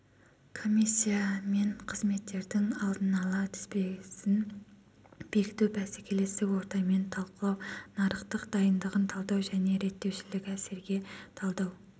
комиссияменқызметтердің алдын ала тізбесін бекіту бәсекелестік ортамен талқылау нарықтың дайындығын талдау және реттеушілік әсерге талдау